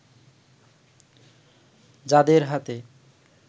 যাঁদের হাতে